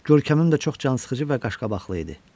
Görkəmim də çox cansıxıcı və qaşqabaqlı idi.